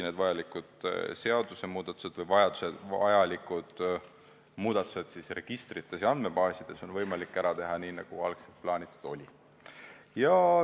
Vajalikud muudatused registrites ja andmebaasides on võimalik ära teha nii, nagu algselt plaanitud oli.